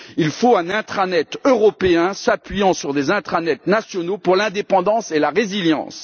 il faut un intranet européen s'appuyant sur des intranets nationaux pour l'indépendance et la résilience.